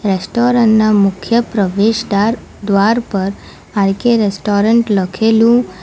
restaurant ના મુખ્ય પ્રવેશ દાર દ્વાર પર આર_કે રેસ્ટોરન્ટ લખેલું --